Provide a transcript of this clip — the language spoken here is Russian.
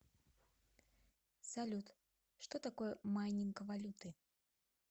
салют что такое майнинг валюты